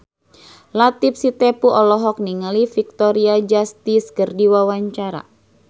Latief Sitepu olohok ningali Victoria Justice keur diwawancara